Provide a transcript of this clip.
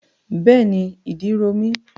Bẹ́ẹ̀ni, ìdí ro mí.